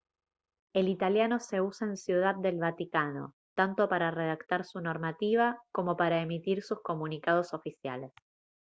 el italiano se usa en ciudad del vaticano tanto para redactar su normativa como para emitir sus comunicados oficiales